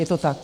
Je to tak.